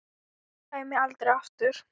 Og kæmi aldrei aftur.